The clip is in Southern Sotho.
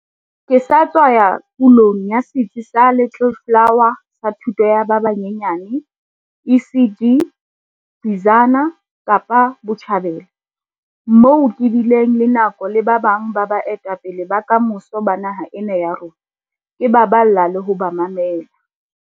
Ke sa tswa ya pulong ya setsi sa Little Flower sa thuto ya ba banyenyane ECD, Bizana, Kapa Botjhabela, moo ke bileng le nako le ba bang ba baetapele ba kamoso ba naha ena ya rona, ke ba balla le ho ba mamela.